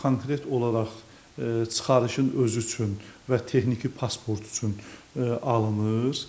Konkret olaraq çıxarışın özü üçün və texniki pasportu üçün alınır.